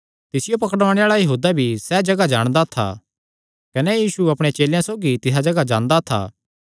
तिसियो पकड़ुआणे आल़ा यहूदा भी सैह़ जगाह जाणदा था क्जोकि यीशु अपणे चेलेयां सौगी तिसा जगाह जांदा था